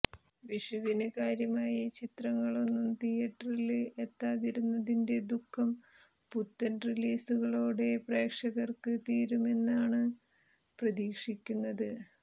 വിഷുവിന് കാര്യമായി ചിത്രങ്ങളൊന്നും തീയെറ്ററില് എത്താതിരുന്നതിന്റെ ദുഃഖം പുത്തന് റിലീസുകളോടെ പ്രേക്ഷകര്ക്ക് തീരുമെന്നാണ് പ്രതീക്ഷിക്കുന്നത്